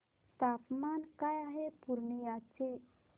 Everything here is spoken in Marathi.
तापमान काय आहे पूर्णिया चे